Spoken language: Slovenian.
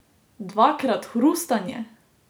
Dvakrat hrustanje?